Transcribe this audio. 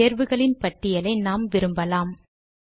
இந்த தேர்வுகளின் பட்டியலை நாம் விரும்பலாம்